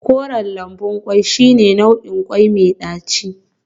Koren lambun kwai shine nau'in kwai mai daci